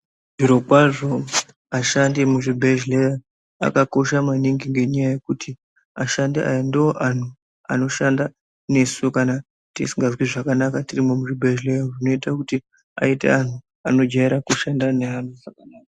Mazviro kwazvo vashandi vemuzvibhedhlera vakakosha maningi ngekuti ashandi ava ndovantu vanoshanda nesu kana tisinganzwi zvakanaka tirimo muzvibhedhlera zvinoita kuti aite antu anojaira kushanda neantu zvakanaka.